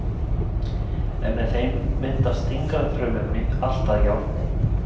En með þeim myndast þyngri frumefni, allt að járni.